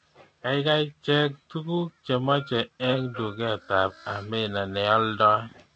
Gaigai Cheng tuguk chemache eng duketab Amina neoldoi